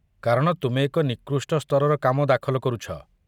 କାରଣ ତୁମେ ଏକ ନିକୃଷ୍ଟ ସ୍ତରର କାମ ଦାଖଲ କରୁଛ।